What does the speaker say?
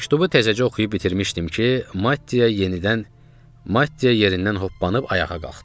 Məktubu təzəcə oxuyub bitirmişdim ki, Mattia yenidən Mattia yerindən hoppanıb ayağa qalxdı.